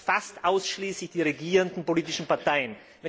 es? Fast ausschließlich die regierenden politischen Parteien.